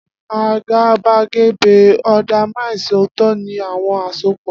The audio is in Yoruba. Agabagebe undermines ooto ni awọn asopọ.